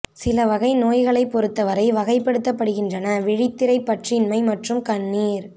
சில வகை நோய்களை பொறுத்தவரை வகைப்படுத்தப்படுகின்றன விழித்திரை பற்றின்மை மற்றும் கண்ணீர்